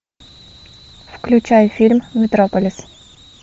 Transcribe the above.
включай фильм метрополис